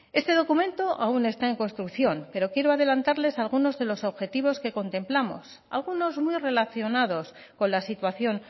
este documento aún está en construcción pero quiero adelantarles algunos de los objetivos que contemplamos algunos muy relacionados con la situación